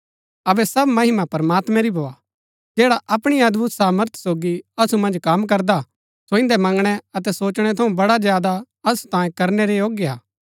अबै सब महिमा प्रमात्मैं री भोआ जैडा अपणी अदभुत सामर्थ सोगी असु मन्ज कम करदा हा सो इन्दै मंगणै अतै सोचणै थऊँ बड़ा ज्यादा असु तांये करनै रै योग्य हा